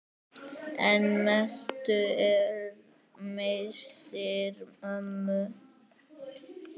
En mestur er missir ömmu.